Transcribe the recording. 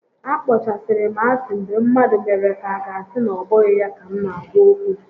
A kpọchasịrị m asị mgbe mmadụ mere ka aga asị na obụghị ya ka m na-agwa okwu